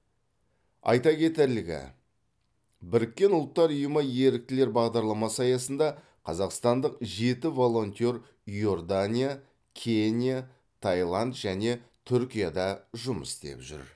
айта кетерлігі біріккен ұлттар ұйымы еріктілер бағдарламасы аясында қазақстандық жеті волонтер иордания кения таиланд және түркияда жұмыс істеп жүр